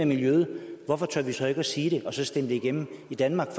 miljøet hvorfor tør man så ikke at sige det og så stemme det igennem i danmark